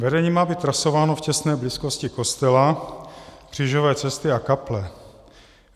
Vedení má být trasováno v těsné blízkosti kostela, křížové cesty a kaple.